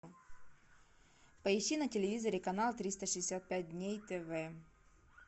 поищи на телевизоре канал триста шестьдесят пять дней тв